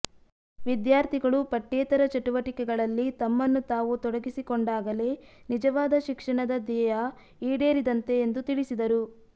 ವಿದ್ಯಾರ್ಥಿಗಳು ಪಠ್ಯೇತರ ಚಟುವಟಿಕೆಗಳಲ್ಲಿ ತಮ್ಮನ್ನು ತಾವು ತೊಡಗಿಸಿಕೊಂಡಾಗಲೇ ನಿಜವಾದ ಶಿಕ್ಷಣದ ಧ್ಯೇಯ ಈಡೇರಿದಂತೆ ಎಂದು ತಿಳಿಸಿದರು